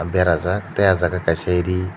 berajak tei ah jaga kaisa ri.